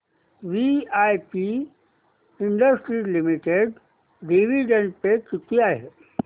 VIP industries limited dividend pay किती आहे